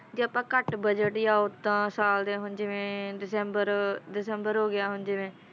ਘੱਟ ਪਟਰੋਲ ਪਾਉਣ ਦਾ ਕਾਰਨ ਬਣ ਰਹੇ ਕਮਰਿਆਂ ਦੇ ਲੈਂਟਰ